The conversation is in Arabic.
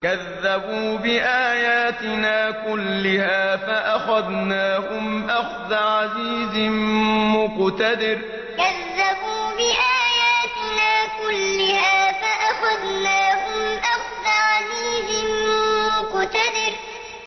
كَذَّبُوا بِآيَاتِنَا كُلِّهَا فَأَخَذْنَاهُمْ أَخْذَ عَزِيزٍ مُّقْتَدِرٍ كَذَّبُوا بِآيَاتِنَا كُلِّهَا فَأَخَذْنَاهُمْ أَخْذَ عَزِيزٍ مُّقْتَدِرٍ